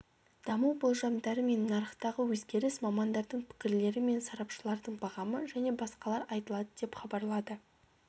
даму болжамдары мен нарықтағы өзгеріс мамандардың пікірлері мен сарапшылардың бағамы және басқалар айтылады деп хабарлады